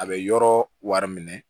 A bɛ yɔrɔ wari minɛ